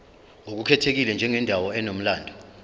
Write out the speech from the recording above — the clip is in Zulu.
ngokukhethekile njengendawo enomlando